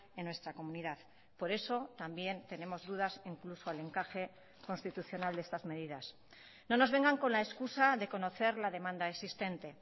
en nuestra comunidad por eso también tenemos dudas incluso al encaje constitucional de estas medidas no nos vengan con la excusa de conocer la demanda existente